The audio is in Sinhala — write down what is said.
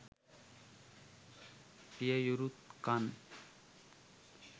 පිය යුරු බන්